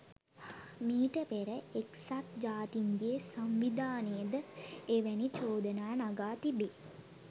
මීට පෙර එක්සත් ජාතීන්ගේ සංවිධානය ද එවැනි චෝදනා නගා තිබේ.